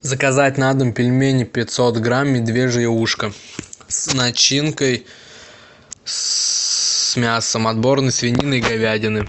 заказать на дом пельмени пятьсот грамм медвежье ушко с начинкой с мясом отборной свинины и говядины